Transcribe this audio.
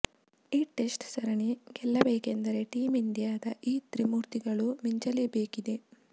ಈ ಟೆಸ್ಟ್ ಸರಣಿ ಗೆಲ್ಲಬೇಕೆಂದರೆ ಟೀಂ ಇಂಡಿಯಾದ ಈ ತ್ರಿಮೂರ್ತಿಗಳು ಮಿಂಚಲೇಬೇಕಿದೆ